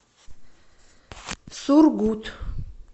сургут